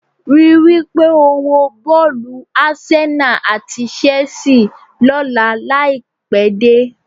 Rí i wí pé o wo bọ́ọ̀lù Arsenal àti Chelsea lọ́la láì pẹ́ dé